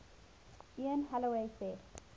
ian holloway said